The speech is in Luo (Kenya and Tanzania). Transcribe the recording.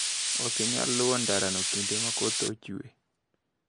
Okinyal luwo ndarano kinde makoth chwe.